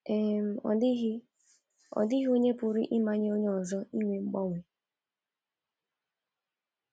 um “Ọ dịghị “Ọ dịghị onye pụrụ imanye onye ọzọ inwe mgbanwe.